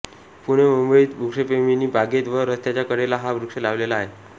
पुणे मुंबईत वृक्षप्रेमींनी बागेत व रस्त्याच्या कडेला हा वृक्ष लावलेला आहे